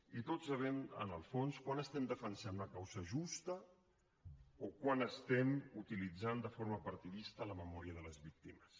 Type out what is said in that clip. i tots sabem en el fons quan estem defensant una causa justa o quan estem utilitzant de forma partidista la memòria de les víctimes